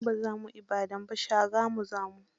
Mu ba za mu Ibadan ba, Shagamu za mu.